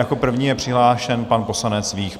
Jako první je přihlášen pan poslanec Vích.